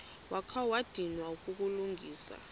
wakha wadinwa kukulungisa